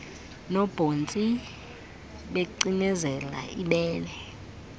nobhontsi becinezela ibele